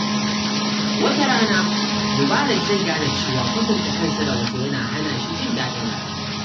Wata rana, Mubarak zai gane cewa kwatanta kansa da wasu yana hana shi jin daɗin rayuwa.